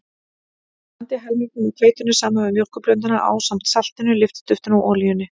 Blandið helmingnum af hveitinu saman við mjólkurblönduna ásamt saltinu, lyftiduftinu og olíunni.